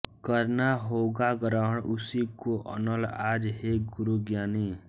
करना होगा ग्रहण उसी को अनल आज हे गुरु ज्ञानी